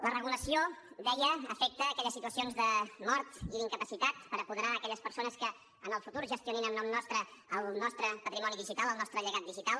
la regulació deia afecta aquelles situacions de mort i d’incapacitat per apoderar aquelles persones que en el futur gestionin en nom nostre el nostre patrimoni digital el nostre llegat digital